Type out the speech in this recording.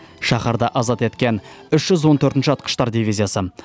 шаһарды азат еткен үш жүз он төртінші атқыштар дивизиясы